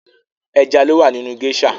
Ẹja lowa nínú gésà